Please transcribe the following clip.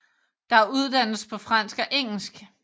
Der uddannes på fransk og engelsk